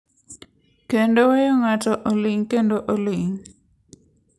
Kendo weyo ng’ato oling’ kendo oling’.